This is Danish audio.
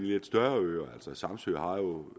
lidt større øer altså samsø har jo